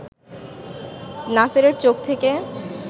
নাসেরের চোখ থেকে